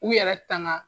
U yɛrɛ tanga